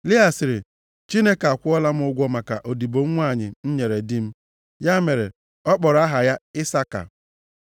Lịa sịrị, “Chineke akwụọla m ụgwọ maka odibo m nwanyị m nyere di m.” Ya mere ọ kpọrọ aha ya Isaka.